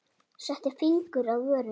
Setti fingur að vörum.